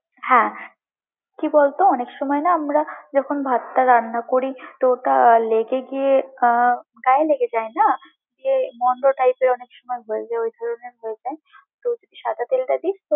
হ্যাঁ, কি বলতো? অনেক সময় না আমরা যখন ভাতটা রান্না করি, তো ওটা লেগে গিয়ে আহ গায়ে লেগে যায় না? গিয়ে মন্দ টাইপের অনেকসময় হয়ে যায় ওই ধরণের হয়ে যায়তো সাদা তেলটা দিস।